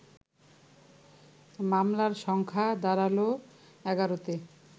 মামলার সংখ্যা দাঁড়াল ১১তে